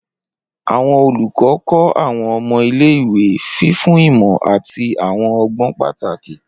Awọn olukọ kọ awọn ọmọ ile-iwe, fifun imọ ati awọn ọgbọn pataki.